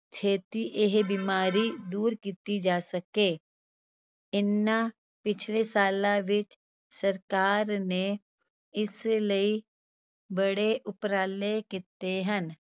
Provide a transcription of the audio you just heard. ਛੇਤੀ ਇਹ ਬਿਮਾਰੀ ਦੂਰ ਕੀਤੀ ਜਾ ਸਕੇ, ਇਹਨਾਂ ਪਿੱਛਲੇ ਸਾਲਾਂ ਵਿੱਚ ਸਰਕਾਰ ਨੇ ਇਸ ਲਈ ਬੜੇ ਉਪਰਾਲੇ ਕੀਤੇ ਹਨ।